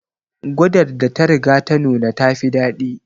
Gwadar da ta riga ta nuna ta fi dadi